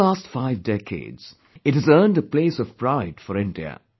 For the last five decades, it has earned a place of pride for India